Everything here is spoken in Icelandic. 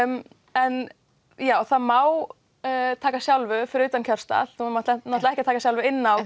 en það má taka sjálfu fyrir utan kjörstað en þú mátt ekki taka sjálfu inni á